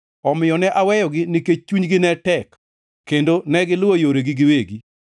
Omiyo ne aweyogi nikech chunygi ne tek, kendo negiluwo yoregi giwegi.